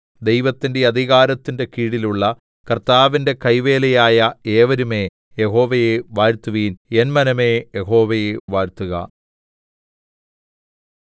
ദൈവത്തിന്റെ അധികാരത്തിന്റെ കീഴിലുള്ള കർത്താ‍വിന്റെ കൈവേലയായ ഏവരുമേ യഹോവയെ വാഴ്ത്തുവിൻ എൻ മനമേ യഹോവയെ വാഴ്ത്തുക